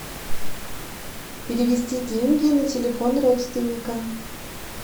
перевести деньги на телефон родственника